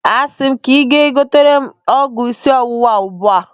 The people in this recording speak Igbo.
Asị m gị gaa gotere m ọgwụ isi ọwụwa ugbua!